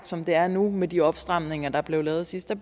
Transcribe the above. som det er nu med de opstramninger der blev lavet sidst at